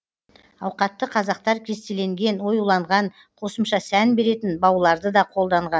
ауқатты қазақтар кестеленген оюланған қосымша сән беретін бауларды да қолданған